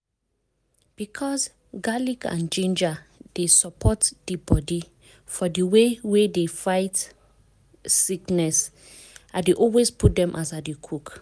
because garlic and ginger dey support di body for the way wey e dey fight sickness i dey always put dem as i dey cook.